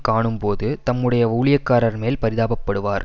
காணும்போது தம்முடைய ஊழியக்காரர்மேல் பரிதாபப்படுவார்